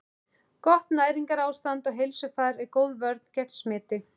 Gott næringarástand og heilsufar er góð vörn gegn smiti.